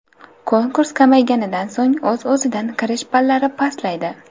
Konkurs kamayganidan so‘ng, o‘z-o‘zidan kirish ballari pastlaydi.